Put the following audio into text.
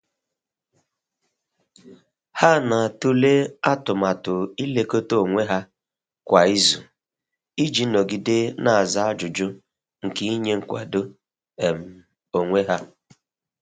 Ha na'atụle atụmatụ i lekọta onwe ha kwa izu i ji nọgide n'aza ajụjụ nke inye nkwado um onwe ha.